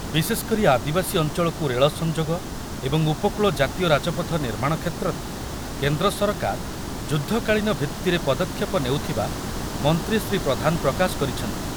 ବିଶେଷକରି ଆଦିବାସୀ ଅଞ୍ଚଳକୁ ରେଳ ସଂଯୋଗ ଏବଂ ଉପକୂଳ ଜାତୀୟ ରାଜପଥ ନିର୍ମାଣ କ୍ଷେତ୍ରରେ କେନ୍ଦ୍ର ସରକାର ଯୁଦ୍ଧକାଳୀନ ଭିତ୍ତିରେ ପଦକ୍ଷେପ ନେଉଥିବା ମନ୍ତ୍ରୀ ଶ୍ରୀ ପ୍ରଧାନ ପ୍ରକାଶ କରିଛନ୍ତି